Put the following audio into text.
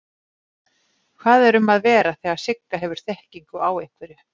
Hvað er um að vera þegar Sigga hefur þekkingu á einhverju?